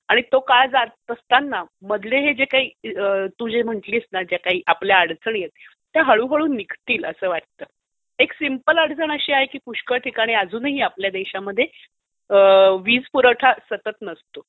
आणि तो काळ जात असताना मधले हे जे काही मधले हे जे काही आपल्या अडचणी आहेत त्या हळूहळू निघतील असं वाटतं. एक सिंपल अडचण अशी आहे की पुष्कळ ठिकाणी आपल्या देशामध्ये वीज पुरवठा सतत नसतो.